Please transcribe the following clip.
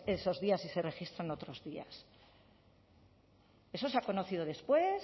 esos días y se registran otros días eso se ha conocido después